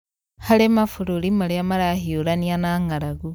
harĩ mabũrũri marĩa marahiũrania na ng'aragu